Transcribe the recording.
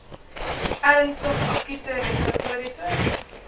ernstige akute respiratoriese